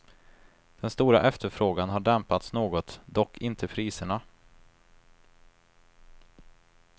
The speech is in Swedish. Den stora efterfrågan har dämpats något, dock inte priserna.